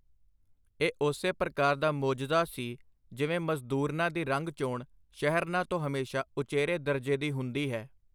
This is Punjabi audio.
ਇਹ ਉਸੇ ਪ੍ਰਕਾਰ ਦਾ ਮੋਜਜ਼ਾ ਸੀ, ਜਿਵੇਂ ਮਜ਼ਦੂਰਨਾਂ ਦੀ ਰੰਗ-ਚੋਣ ਸ਼ਹਿਰਨਾਂ ਤੋਂ ਹਮੇਸ਼ਾਂ ਉਚੇਰੇ ਦਰਜੇ ਦੀ ਹੁੰਦੀ ਹੈ.